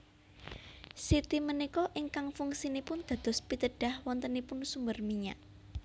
Siti punika ingkang fungsinipun dados pitedah wontenipun sumber minyak